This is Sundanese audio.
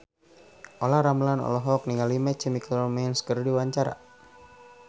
Olla Ramlan olohok ningali My Chemical Romance keur diwawancara